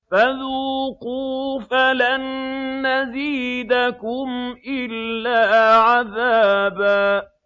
فَذُوقُوا فَلَن نَّزِيدَكُمْ إِلَّا عَذَابًا